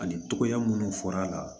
Ani togoya munnu fɔra a la